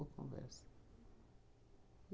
conversa.